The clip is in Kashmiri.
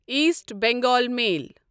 ایٖسٹ بنگال میل